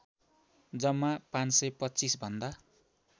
जम्मा ५२५ भन्दा